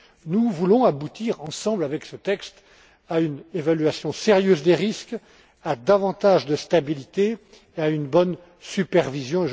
Nous voulons aboutir ensemble, avec ce texte, à une évaluation sérieuse des risques, à davantage de stabilité et à une bonne supervision.